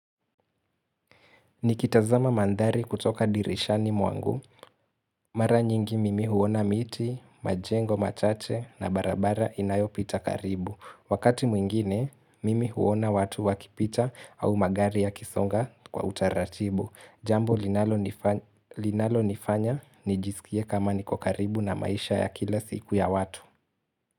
Nikitazama mandhari kutoka dirishani mwangu. Mara nyingi mimi huona miti, majengo machache na barabara inayopita karibu. Wakati mwingine, mimi huona watu wakipita au magari ya kisonga kwa utaratibu. Jambo linalo nifanya nijisikie kama niko karibu na maisha ya kila siku ya watu.